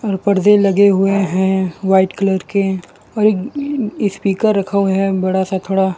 पर्दे लगे हुए हैं व्हाइट कलर के और स्पीकर रखा हुआ है बड़ा सा थोड़ा।